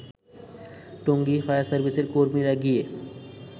টঙ্গী ফায়ারসার্ভিসের কর্মীরা গিয়ে